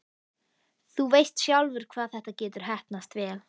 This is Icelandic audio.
Þú veist sjálfur hvað þetta getur heppnast vel.